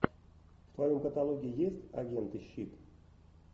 в твоем каталоге есть агенты щит